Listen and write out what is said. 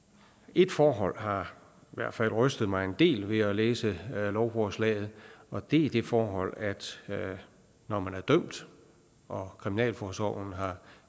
et forhold har i hvert fald rystet mig en del ved at læse lovforslaget og det er det forhold at når man er dømt og kriminalforsorgen har